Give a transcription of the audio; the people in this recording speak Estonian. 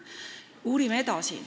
Uurime edasi.